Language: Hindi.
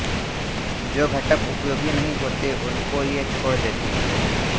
जो घटक उपयोगी नहीं होते उनको ये छोड़ देती हैं